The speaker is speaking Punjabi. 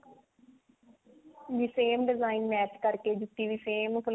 ਵੀ same design match ਕਰਕੇ ਜੁੱਤੀ ਵੀ same